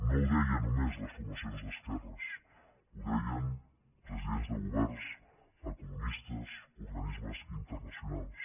no ho deien només les formacions d’esquerres ho deien presidents de governs economistes organismes internacionals